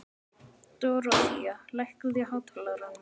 Dorothea, lækkaðu í hátalaranum.